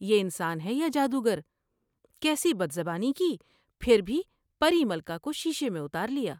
یہ انسان ہے یا جادوگر کیسی بدزبانی کی پھر بھی پری ملکہ کو شیشے میں اتارلیا ۔